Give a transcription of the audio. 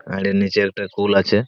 আর এর নিচে একটা একটা কুল আছে।